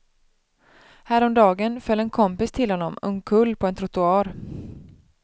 Häromdagen föll en kompis till honom omkull på en trottoar.